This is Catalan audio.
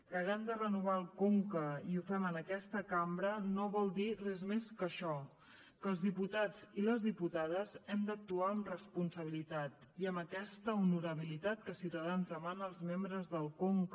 que haguem de renovar el conca i ho fem en aquesta cambra no vol dir res més que això que els diputats i les diputades hem d’actuar amb responsabilitat i amb aquesta honorabilitat que ciutadans demana als membres del conca